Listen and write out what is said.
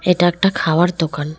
এটা একটা খাওয়ার দোকান।